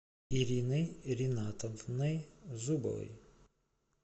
ириной ринатовной зубовой